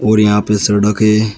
और यहां पे सड़क है।